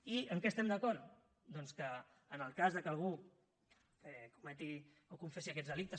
i en què estem d’acord doncs que en el cas que algú cometi o confessi aquests delictes